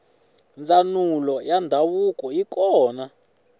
ndzanulo yandzavuko yikona